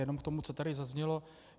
Jenom k tomu, co tady zaznělo.